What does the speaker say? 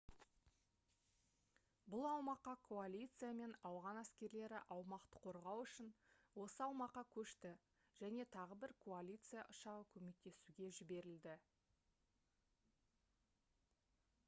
бұл аумаққа коалиция мен ауған әскерлері аумақты қорғау үшін осы аумаққа көшті және тағы бір коалиция ұшағы көмектесуге жіберілді